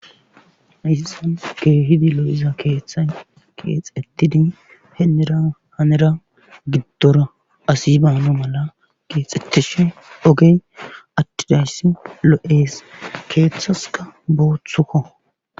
issan keehidi lo7iza keeththa keexetidi henera hanera giddora asi baano mala geexxettishi ogey addidayssi lo7ees keeththaska booththukko